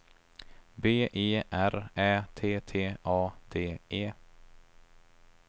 B E R Ä T T A D E